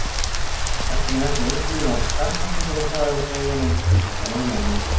Vertu nú ekki að einblína á stafsetninguna hjá þeim, greyjunum, sagði mamma.